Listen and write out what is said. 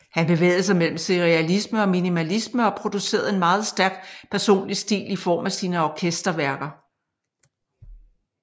Han bevægede sig mellem serialisme og minimalisme og producerede en meget stærk personlig stil i form af sine orkesterværker